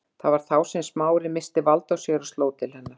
Það var þá sem Smári missti vald á sér og sló til hennar.